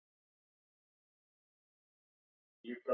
Rússneskt seglskip í heimsókn